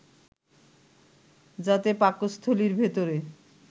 যাতে পাকস্থলির ভেতরে